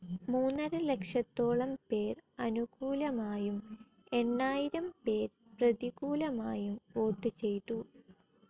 മൂന്നരലക്ഷത്തോളം പേർ അനുകൂലമായും എണ്ണായിരം പേർ പ്രതികൂലമായും വോട്ടു ചെയ്തു.